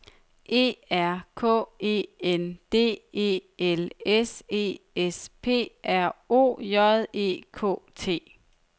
E R K E N D E L S E S P R O J E K T